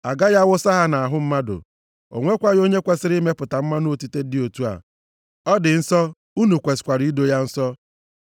Agaghị awụsa ya nʼahụ mmadụ. O nwekwaghị onye kwesiri imepụta mmanụ otite dị otu a. Ọ dị nsọ, unu kwesikwara ido ya nsọ.